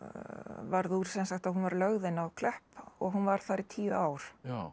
varð úr sem sagt að hún var lögð inn á Klepp og hún var þar í tíu ár